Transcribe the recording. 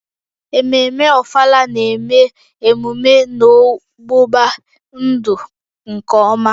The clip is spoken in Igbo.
Ememme Ofala na-eme emume n'ọgbụgba-ndụ nke ọma